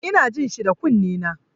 Ina jin shi da kunnena.